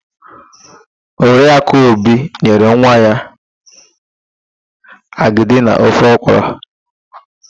Oriakụ Obi nyere nwa ya agịdi na ofe ọkwụrụ.